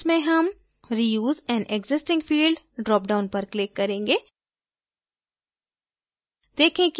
इस case में हम reuse an existing field dropdown पर click करेंगे